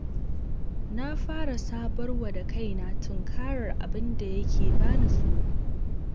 Na fara sabarwa da kaina tunkarar abinda yake bani tsoro.